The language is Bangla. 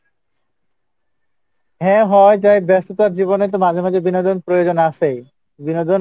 হ্যাঁ হওয়া যাই ব্যস্ততার জীবনে তো মাঝে মাঝে বিনোদন প্রয়োজন আসে বিনোদন,